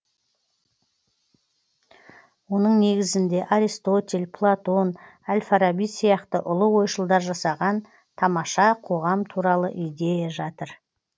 оның негізінде аристотель платон әл фараби сияқты ұлы ойшылдар жасаған тамаша қоғам туралы идея жатыр